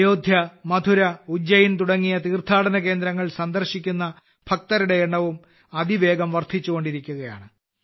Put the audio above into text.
അയോധ്യ മഥുര ഉജ്ജയിൻ തുടങ്ങിയ തീർത്ഥാടന കേന്ദ്രങ്ങൾ സന്ദർശിക്കുന്ന ഭക്തരുടെ എണ്ണവും അതിവേഗം വർദ്ധിച്ചുകൊണ്ടിരിക്കുകയാണ്